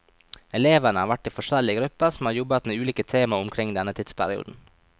Elevene har vært i forskjellige grupper som har jobbet med ulike tema omkring denne tidsperioden.